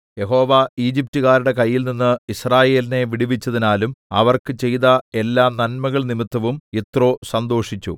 യഹോവ ഈജിപ്റ്റുകാരുടെ കയ്യിൽനിന്ന് യിസ്രായേലിനെ വിടുവിച്ചതിനാലും അവർക്ക് ചെയ്ത എല്ലാ നന്മകൾ നിമിത്തവും യിത്രോ സന്തോഷിച്ചു